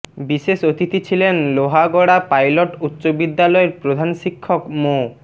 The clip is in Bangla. বিশেষ অতিথি ছিলেন লোহাগড়া পাইলট উচ্চ বিদ্যালয়ের প্রধান শিক্ষক মো